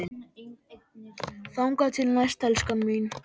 Þangað til næst, elskan mín.